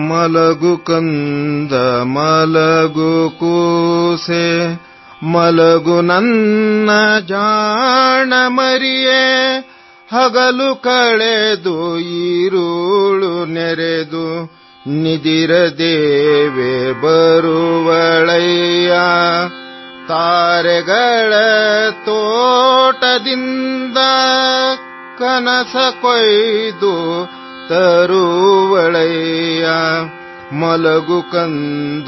35 సెకన్లు తెలుగు అనువాదం